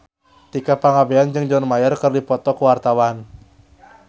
Tika Pangabean jeung John Mayer keur dipoto ku wartawan